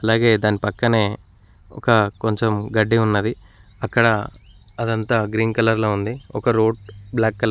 అలాగే దాని పక్కనే ఒక కొంచెం గడ్డి ఉన్నది. అక్కడ అదంతా గ్రీన్ కలర్లో ఉంది. ఒక రోడ్ బ్లాక్ కలర్ --